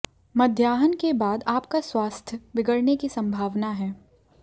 मध्याहन के बाद आपका स्वास्थ्य बिगड़ने की संभावना है